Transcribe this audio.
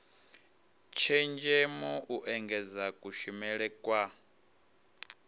tshenzhemo u engedza kushumele kwa